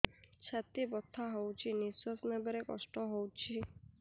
ଛାତି ବଥା ହଉଚି ନିଶ୍ୱାସ ନେବାରେ କଷ୍ଟ ହଉଚି